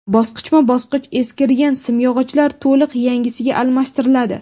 Bosqichma-bosqich eskirgan simyog‘ochlar to‘liq yangisiga almashtiriladi.